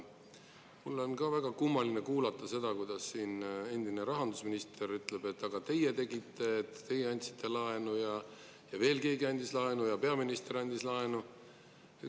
Mul on ka väga kummaline kuulata seda, kuidas siin endine rahandusminister ütleb, et aga teie tegite, teie andsite laenu ja veel keegi andis laenu ja peaminister andis laenu.